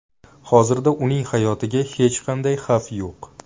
Hozirda uning hayotiga hech qanday xavf yo‘q.